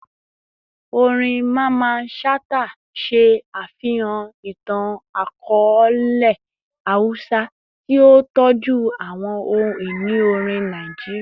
Orin Mamman Shata ṣe afihan itan-akọọlẹ Hausa, ti o tọju awọn ohun-ini orin Naijiria